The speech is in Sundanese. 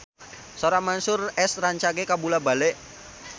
Sora Mansyur S rancage kabula-bale